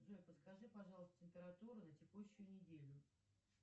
джой подскажи пожалуйста температуру на текущую неделю